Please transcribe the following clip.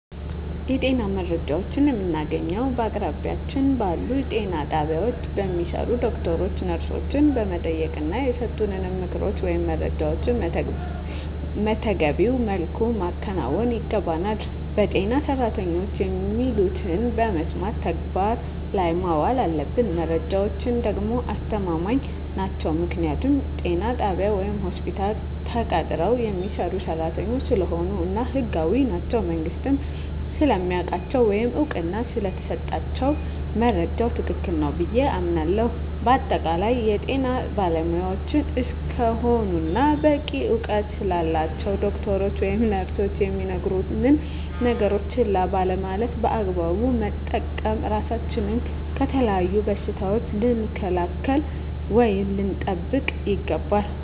የጤና መረጃዎችን የምናገኘዉ በአቅራቢያችን ባሉ ጤና ጣቢያ በሚሰሩ ዶክተሮችን ነርሶችን በመጠየቅና የሰጡንን ምክሮች ወይም መረጃዎችን መተገቢዉ መልኩ ማከናወን ይገባናል በጤና ሰራተኖች የሚሉትን በመስማት ተግባር ላይ ማዋል አለብን መረጃዎች ደግሞ አስተማማኝ ናቸዉ ምክንያቱም ጤና ጣቢያ ወይም ሆስፒታል ተቀጥረዉ የሚሰሩ ሰራተኞች ስለሆኑ እና ህጋዊም ናቸዉ መንግስትም ስለሚያዉቃቸዉ ወይም እዉቅና ስለተሰጣቸዉ መረጃዉ ትክክል ነዉ ብየ አምናለሁ በአጠቃላይ የጤና ባለሞያዎች እስከሆኑና በቂ እዉቀት ስላላቸዉ ዶክተሮች ወይም ነርሶች የሚነግሩነን ነገሮች ችላ ባለማለት በአግባቡ በመጠቀም ራሳችንን ከተለያዩ በሽታዎች ልንከላከል ወይም ልንጠብቅ ይገባል